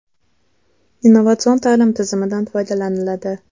Innovatsion ta’lim tizimidan foydalaniladi.